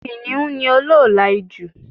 Kìniún ni olóòlà ijù